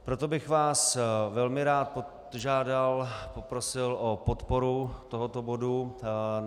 Proto bych vás velmi rád požádal, poprosil o podporu tohoto bodu.